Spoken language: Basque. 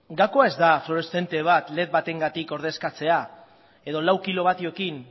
gakoa ez da fluoreszente bat led batengatik ordezkatzea edo lau kilovatiorekin